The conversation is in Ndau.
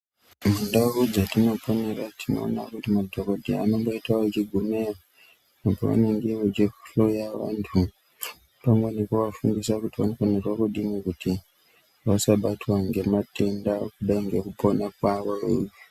Mundau dzatinoponera tinoona kuti madhokodheya anomboita achigumeyo pavanenge vachihloya vantu. Pamweni nekuvafundisa kuti vanofanirwa kudini kuti vasabatwa ngematenda kudai ngekupona kwavo.